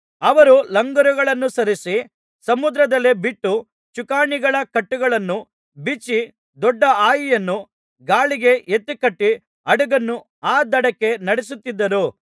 ಅವರು ಲಂಗರುಗಳನ್ನು ಸರಿಸಿ ಸಮುದ್ರದಲ್ಲೇ ಬಿಟ್ಟು ಚುಕ್ಕಾಣಿಗಳ ಕಟ್ಟುಗಳನ್ನು ಬಿಚ್ಚಿ ದೊಡ್ಡ ಹಾಯಿಯನ್ನು ಗಾಳಿಗೆ ಎತ್ತಿಕಟ್ಟಿ ಹಡಗನ್ನು ಆ ದಡಕ್ಕೆ ನಡಿಸುತ್ತಿದ್ದರು